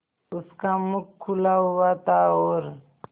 उसका मुख खुला हुआ था और